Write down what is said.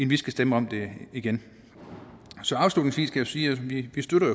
vi skal stemme om det igen afslutningsvis kan sige at vi